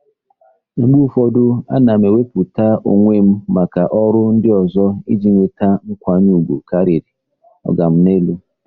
Mgbe ụfọdụ, ana m ewepụta onwe m maka ọrụ ndị ọzọ iji nweta nkwanye ùgwù karịrị “oga m n'elu.”